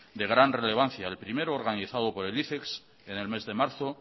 de gran relevancia el primero organizado por el ifex en el mes de marzo